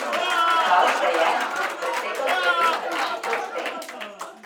Bal se je, da bi presekal cevi ali žice v steni.